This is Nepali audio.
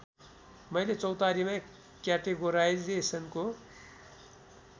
मैले चौतारीमा क्याटेगोराइजेसनको